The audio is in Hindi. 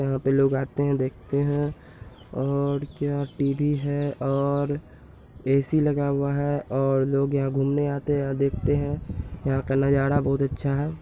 यहाँ पे लोग आते हैं देखते हैं और क्या टी.वी. है और ए.सी. लगा हुआ है और लोग यहाँ घूमने आते हैं देखते हैं यहाँ का नज़ारा बहुत अच्छा है।